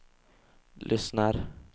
lyssnar